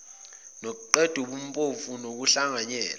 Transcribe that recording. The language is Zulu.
nokuqeda ubumpofu nokuhlanganyela